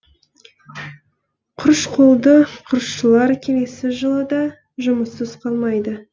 құрыш қолды құрылысшылар келесі жылы да жұмыссыз қалмайды